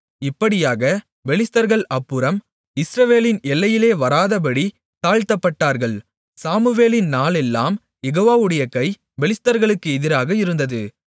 இப்படியாக பெலிஸ்தர்கள் அப்புறம் இஸ்ரவேலின் எல்லையிலே வராதபடித் தாழ்த்தப்பட்டார்கள் சாமுவேலின் நாளெல்லாம் யெகோவாவுடைய கை பெலிஸ்தர்களுக்கு எதிராக இருந்தது